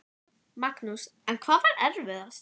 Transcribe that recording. Magnús: En hvað var erfiðast?